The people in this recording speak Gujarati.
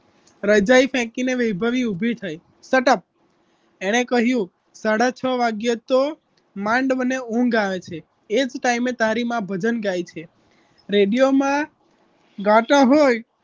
રજાઈ ફેકીને વૈભવી ઊભી થઈ shut up એણે કહ્યું સાડા છ વાગે તો માંડ મને ઊંઘ આવે છે એ જ ટાઈમે તારી માં ભજન ગાય છે રેડિયોમાં ગાતા હોય